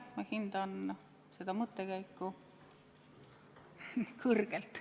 Ma hindan seda mõttekäiku kõrgelt.